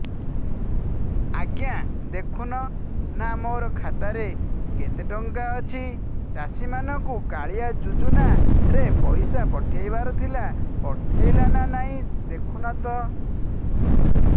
ଆଜ୍ଞା ଦେଖୁନ ନା ମୋର ଖାତାରେ କେତେ ଟଙ୍କା ଅଛି ଚାଷୀ ମାନଙ୍କୁ କାଳିଆ ଯୁଜୁନା ରେ ପଇସା ପଠେଇବାର ଥିଲା ପଠେଇଲା ନା ନାଇଁ ଦେଖୁନ ତ